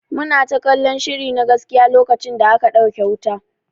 Muna ta kallan shiri na gaskiya lokacin da aka dauke wuta.